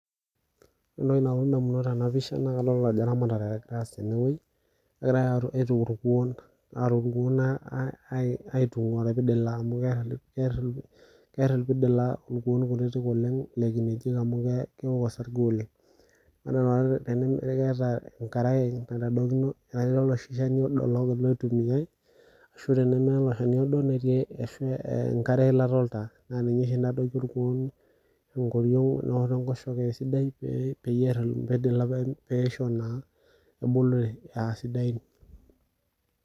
Ore entoki nalotu tenapisha naa kadol ajo eramatare egirae aas tenewuei , egirae aituku inkuon aitungwaa irpidila amu keeta irpidila amu irkuoo kutitik oleng lekinejik amu keeok osarge oleng, ore naa tenewuei keeta enkarae naitaokino, naitadokini oloshi shani loitumiay ashu teneme ilo shani odo ashu enkare weilata oltaa , naa ninye oshi nadoiki irkuoon enkorion wenaalo enkoshoke esidai peyie pear irpidila peisho ebulu aasidai .